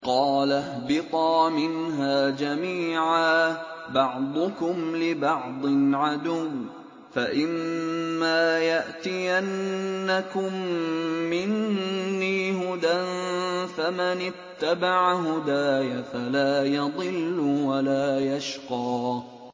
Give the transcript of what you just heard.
قَالَ اهْبِطَا مِنْهَا جَمِيعًا ۖ بَعْضُكُمْ لِبَعْضٍ عَدُوٌّ ۖ فَإِمَّا يَأْتِيَنَّكُم مِّنِّي هُدًى فَمَنِ اتَّبَعَ هُدَايَ فَلَا يَضِلُّ وَلَا يَشْقَىٰ